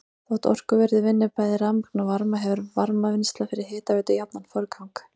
Þótt orkuverið vinni bæði rafmagn og varma hefur varmavinnsla fyrir hitaveitu jafnan forgang.